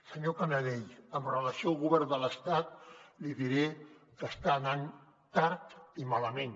senyor canadell amb relació al govern de l’estat li diré que està anant tard i malament